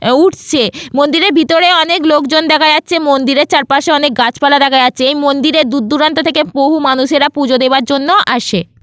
উঠছে মন্দিরের ভিতরে অনেক লোকজন দেখা যাচ্ছে মন্দিরে চারপাশে অনেক গাছপালা দেখা যাচ্ছে এই মন্দিরে দূর দূরান্ত থেকে বহু মানুষেরা পূজা দেওয়ার জন্য আসে।